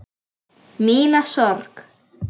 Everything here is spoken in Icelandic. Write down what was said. Mína sorg.